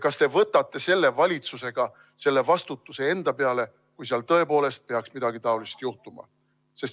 Kas te võtate selle valitsusega selle vastutuse enda peale, kui seal tõepoolest peaks midagi taolist juhtuma?